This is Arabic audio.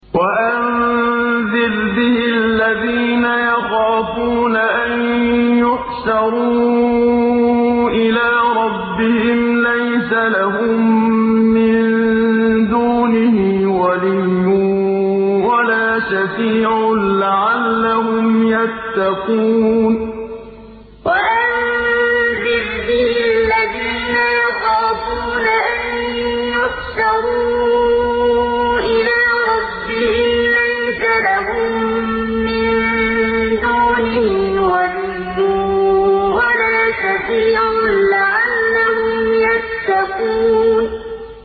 وَأَنذِرْ بِهِ الَّذِينَ يَخَافُونَ أَن يُحْشَرُوا إِلَىٰ رَبِّهِمْ ۙ لَيْسَ لَهُم مِّن دُونِهِ وَلِيٌّ وَلَا شَفِيعٌ لَّعَلَّهُمْ يَتَّقُونَ وَأَنذِرْ بِهِ الَّذِينَ يَخَافُونَ أَن يُحْشَرُوا إِلَىٰ رَبِّهِمْ ۙ لَيْسَ لَهُم مِّن دُونِهِ وَلِيٌّ وَلَا شَفِيعٌ لَّعَلَّهُمْ يَتَّقُونَ